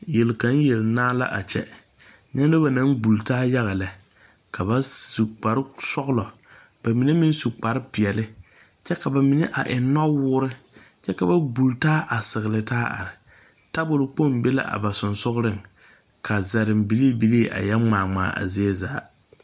Yel kaŋ yel naa la a kyɛ nyɛ nobɔ naŋ gbultaa yaga lɛ ka ba su kparesɔglɔ ka ba mine meŋ su kparepeɛɛli kyɛ ka ba mine a eŋ nɔwoore kyɛ ka ba gbultaa a segilitaa are tabol kpoŋ be la a ba seŋsugliŋ kaa zareŋ bilii bilii a yɛ ngmaa ngmaa a zie zaa.